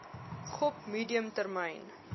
gop medium termyn